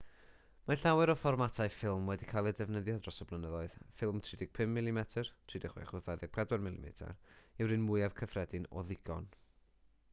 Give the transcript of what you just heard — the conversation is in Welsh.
mae llawer o fformatau ffilm wedi cael eu defnyddio dros y blynyddoedd. ffilm 35 mm 36 wrth 24 mm yw'r un mwyaf cyffredin o ddigon